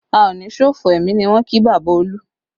A o ní ṣòfò ẹmi ni wọ́n kí bàbá Olu